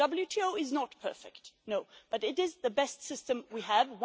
The WTO is not perfect, but it is the best system we have.